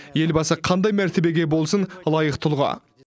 елбасы қандай мәртебеге болсын лайық тұлға